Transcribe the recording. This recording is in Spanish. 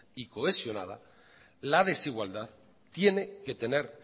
y cohesionada la desigualdad tiene que tener